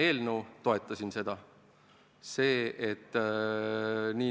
eelnõu, toetasin ma seda.